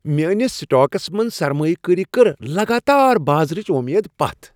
میٲنس سٹاکس منز سرمایہ کٲری کٔر لگاتار بازرٕچہِ وۄمیدٕ پتھ ۔